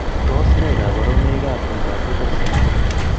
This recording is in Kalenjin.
Tos ne kaborunoikap miondop Rotor syndrome?